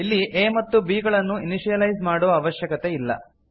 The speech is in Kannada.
ಇಲ್ಲಿ a ಮತ್ತು b ಗಳನ್ನು ಇನಿಶಿಯಲೈಸ್ ಮಾಡುವ ಅವಶ್ಯಕತೆ ಇಲ್ಲ